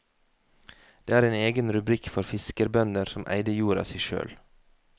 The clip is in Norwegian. Det er en egen rubrikk for fiskerbønder som eide jorda si sjøl.